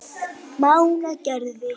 Mánagerði